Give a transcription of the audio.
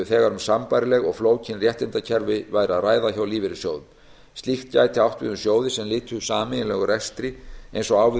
þegar um sambærileg og flókin réttindakerfi væri að ræða hjá lífeyrissjóðum slíkt gæti átt við um sjóði sem lytu sameiginlegum rekstri eins og á við um